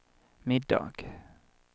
middag